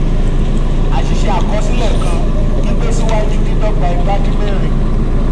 àṣìṣe àkọsílẹ kàn: gbígbésí gbígbé síwájú dídọ́gba igbadínmẹ́rin.